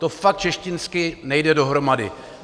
To fakt češtinsky nejde dohromady.